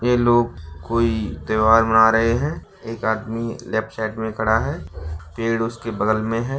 वे लोग कोई त्योहार बना रहे हैं एक आदमी लेफ्ट साइड में खड़ा है पेड़ उसके बगल में हैं।